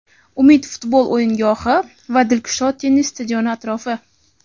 "Umid" futbol o‘yingohi va "Dilkusho" tennis stadioni atrofi;.